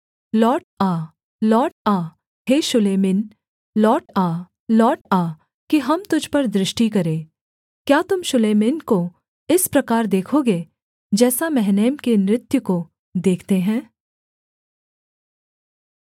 लौट आ लौट आ हे शूलेम्मिन लौट आ लौट आ कि हम तुझ पर दृष्टि करें क्या तुम शूलेम्मिन को इस प्रकार देखोगे जैसा महनैम के नृत्य को देखते हैं